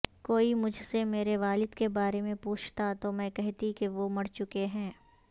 کوئی مجھ سےمیرے والد کے بارے میں پوچھتا تو میں کہتی کہ وہ مرچکے ہیں